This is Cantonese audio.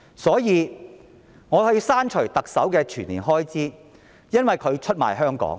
所以，我要求削減特首全年薪酬開支，因為她出賣香港。